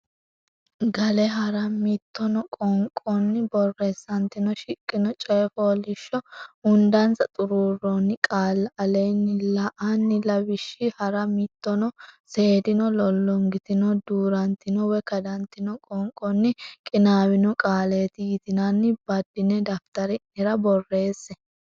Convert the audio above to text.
Gale hara mitino qoonqonni borreessantino shiqqino coy fooliishsho hundansa xuruurroonni qaalla aleenni la ini lawishshi hara mitino seeddino lollongitino duu rantino woy kadantino qoonqonni qinaawino qaaleeti yitinanni baddine daftari nera borreesse.